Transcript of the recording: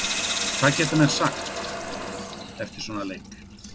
Hvað geta menn sagt eftir svona leik?